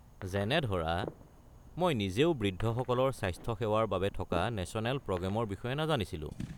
যেনে ধৰা মই নিজেও বৃদ্ধসকলৰ স্বাস্থ্যসেৱাৰ বাবে থকা নেশ্যনেল প্ৰগ্ৰেমৰ বিষয়ে নাজানিছিলোঁ।